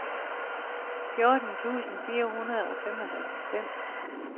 fjorten tusind fire hundrede og femoghalvfems